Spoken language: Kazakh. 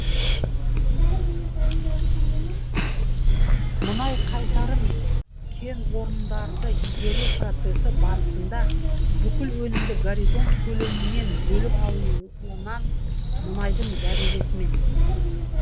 мұнай қайтарым кенорындарды игеру процесі барысында бүкіл өнімді горизонт көлемінен бөліп алынуынан мұнайдың дәрежесімен